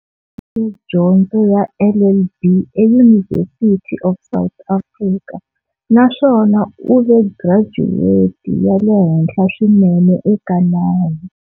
Dyondzo ya LLB eUniversity of South Africa na swona u ve gracuweti ya le henhla swinene eka nawu.